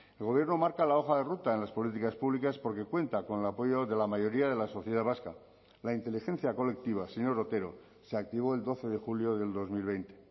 el gobierno marca la hoja de ruta en las políticas públicas porque cuenta con el apoyo de la mayoría de la sociedad vasca la inteligencia colectiva señor otero se activó el doce de julio del dos mil veinte